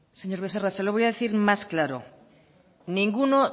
señor becerra se lo voy a decir más claro ninguno